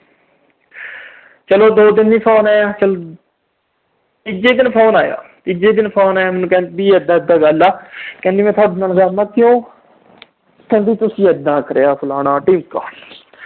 ਚਲੋ ਦੋ ਦਿਨ ਨੀ phone ਆਇਆ। ਤੀਜੇ ਦਿਨ phone ਆਇਆ। ਤੀਜੇ ਦਿਨ ਆਇਆ, ਕਹਿੰਦੀ ਮੈਂ ਥੋਡੇ ਨਾਲ ਨਹੀਂ ਆ, ਮੈਂ ਕਿਹਾ ਕਿਉਂ। ਕਹਿੰਦੀ ਤੁਸੀਂ ਇਦਾਂ ਕਰੀਆ, ਫਲਾਣਾ, ਢੀਮਕਾ।